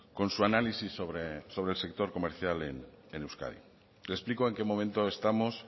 con su análisis sobre el sector comercial en euskadi le explico en qué momento estamos